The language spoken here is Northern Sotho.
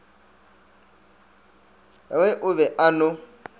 re o be a no